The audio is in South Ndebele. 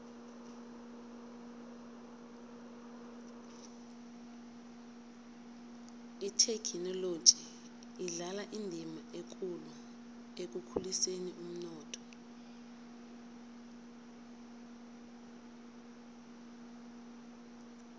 ithekhinoloji idlala indima ekulu ekukhuliseni umnotho